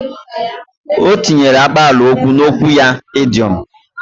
O tinyere akpalaokwu n’okwu ya idoiom